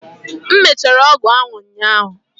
m mechara ọgwụ ahụ ụnyaahụ